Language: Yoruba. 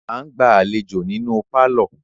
A ǹ gbà aléjo nínú parlor